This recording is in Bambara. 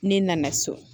Ne nana so